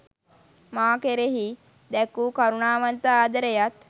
මා කෙරෙහි දැක් වූ කරුණාවන්ත, ආදරයත්